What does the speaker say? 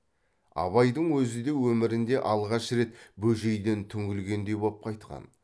абайдың өзі де өмірінде алғаш рет бөжейден түңілгендей боп қайтқан